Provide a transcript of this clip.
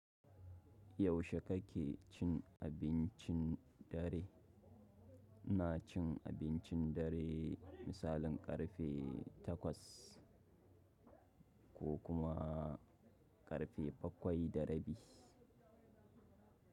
Yaushe kake cin abincin dare? Na cin abincin dare misalin ƙarfe takwas ko kuma ƙarfe bakwai da rabi.